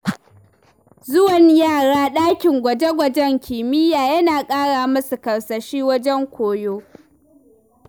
Zuwan yara ɗakin gwaje-gwajen kimiyya, yana ƙara musu karsashi wajen koyo.